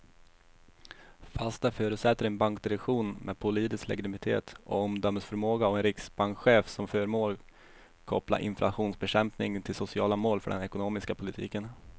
Fast det förutsätter en bankdirektion med politisk legitimitet och omdömesförmåga och en riksbankschef som förmår koppla inflationsbekämpning till sociala mål för den ekonomiska politiken.